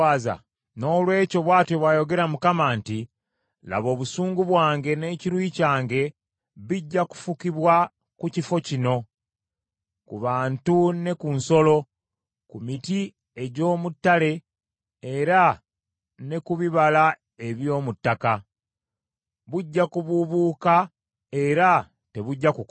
Noolwekyo bw’atyo bw’ayogera Mukama nti, “Laba obusungu bwange n’ekiruyi kyange bijja kufukibwa ku kifo kino, ku bantu ne ku nsolo, ku miti egy’omu ttale era ne ku bibala eby’omu ttaka; bujja kubuubuuka era tebujja kukoma.”